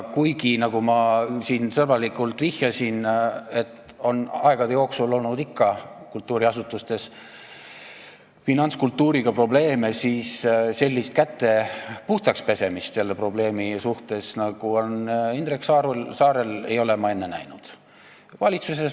Kuigi, nagu ma siin sõbralikult vihjasin, aegade jooksul on ikka olnud kultuuriasutustes finantskultuuriga probleeme, aga sellist käte puhtaks pesemist selle probleemi suhtes, nagu on Indrek Saarel, ei ole ma enne näinud.